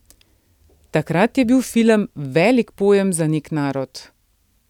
Takrat je bil film velik pojem za nek narod.